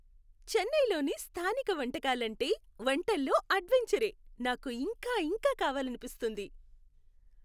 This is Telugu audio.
చెన్నైలోని స్థానిక వంటకాలు అంటే వంటల్లో అడ్వెంచరే, నాకు ఇంకా ఇంకా కావాలనిపిస్తుంది.